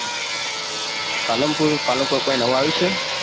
પાલનપુર, પાલનપુર કઈ નવું આવુંય છે.